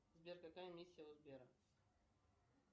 сбер какая миссия у сбера